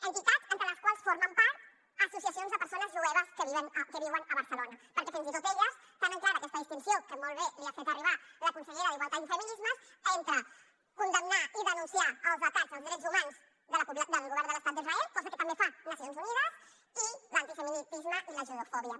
entitats entre les quals formen part associacions de persones jueves que viuen a barcelona perquè fins i tot elles tenen clara aquesta distinció que molt bé li ha fet arribar la consellera d’igualtat i feminismes entre condemnar i denunciar els atacs als drets humans del govern de l’estat d’israel cosa que també fa nacions unides i l’antisemitisme i la judeofòbia